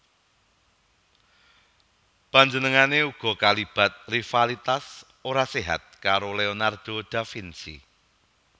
Panjenengané uga kalibat rivalitas ora séhat karo Leonardo da Vinci